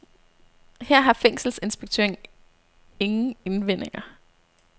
Her har fængselsinspektøren ingen indvendinger.